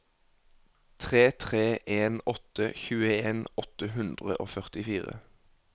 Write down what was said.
tre tre en åtte tjueen åtte hundre og førtifire